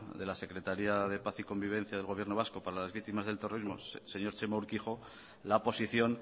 de la secretaría de paz y convivencia del gobierno vasco para las víctimas del terrorismo el señor txema urkijo la posición